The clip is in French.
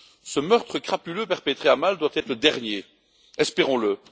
Ce meurtre crapuleux perpétré à Malte doit être le dernier, espérons le.